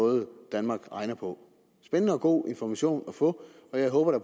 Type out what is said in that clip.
måde danmark regner på spændende og god information at få og jeg håber da